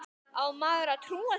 Á maður að trúa því?